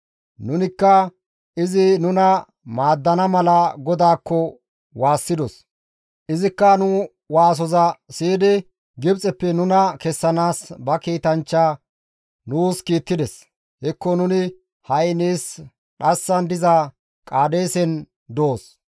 Nunikka izi nuna maaddana mala GODAAKKO waassidos; izikka nu waasoza siyidi Gibxeppe nuna kessanaas ba kiitanchcha nuus kiittides; hekko nuni ha7i nees dhassan diza Qaadeesen doos.